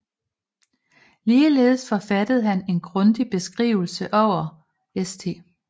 Ligeledes forfattede han en grundig Beskrivelse over St